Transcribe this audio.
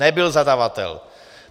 Nebyl zadavatel.